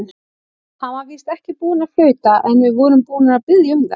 Hann var víst ekki búinn að flauta, en við vorum búnir að biðja um það.